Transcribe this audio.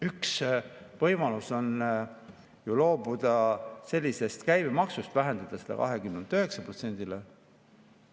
Üks võimalus on ju loobuda sellisest käibemaksust, vähendada seda 20%‑lt 9%‑le.